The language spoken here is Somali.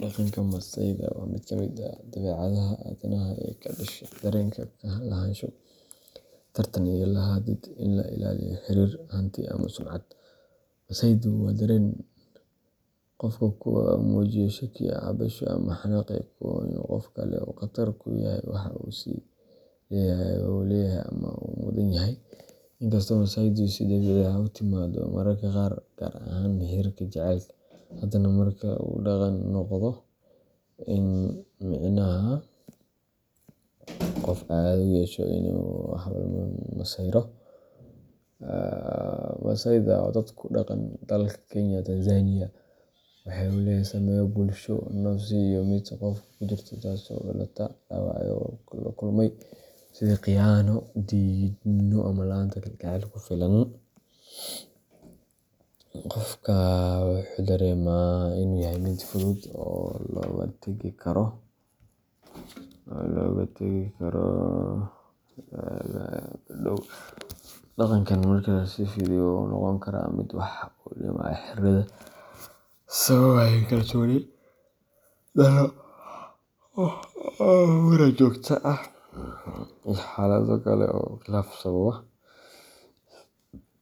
Dhaqanka masayda waa mid ka mid ah dabeecadaha aadanaha ee ka dhasha dareenka lahaansho, tartan, iyo baahida in la ilaaliyo xiriir, hanti, ama sumcad. Masaydu waa dareen qofku ku muujiyo shakki, cabsasho ama xanaaq uu ka qabo in qof kale uu "qatar" ku yahay waxa uu is leeyahay wuu leeyahay ama waa uu mudan yahay. Inkasta oo masaydu si dabiici ah u timaaddo mararka qaar, gaar ahaan xiriirrada jaceylka, haddana marka uu dhaqan noqdo micnaha uu qofku caado u yeesho in uu mar walba masayro. Masaydu waxey dagan yihin Kenya iyo Tanzania, waxa uu leeyahay saameyn bulsho, nafsi, iyo mid xiriir oo xooggan. Dhaqanka masayda wuxuu inta badan ku saleysan yahay kalsooni darrida qofka ku jirta, taasoo ka dhalata dhaawacyo hore oo uu la kulmay, sida khiyaano, diidmo, ama la’aanta kalgacayl ku filan. Qofka wuxuu dareemaa in uu yahay mid si fudud looga tagi karo ama loola tartami karo, taasoo keenta in uu si joogto ah uga shakiyo lammaanihiisa, asxaabtiisa, ama xitaa dad kale oo ka ag dhow. Dhaqankan marka uu sii fido wuxuu noqon karaa mid wax u dhimaya xiriirrada, sababaya xasillooni darro, muran joogto ah, iyo xaalado kale oo khilaaf sababa.